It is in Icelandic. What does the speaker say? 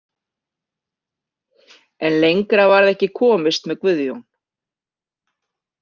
En lengra varð ekki komist með Guðjón.